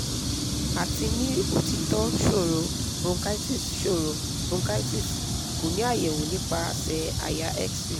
ati ni otitọ sọrọ bronchitis sọrọ bronchitis ko ni ayẹwo nipasẹ àyà x ray